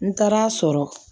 N taar'a sɔrɔ